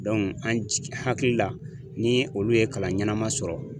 an jigin hakili la ni olu ye kalan ɲɛnama sɔrɔ